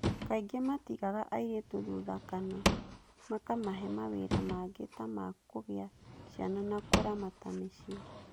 Kaingĩ matigaga airĩtu thutha kana makamahe mawĩra mangĩ ta ma kũgĩa ciana na kũramata mĩciĩ.